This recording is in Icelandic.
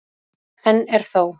Enn er þó